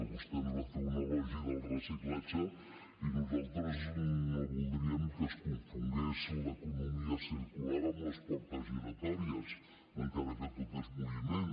vostè ens va fer un elogi del reciclatge i nosaltres no voldríem que es confongués l’economia circular amb les portes giratòries encara que tot és moviment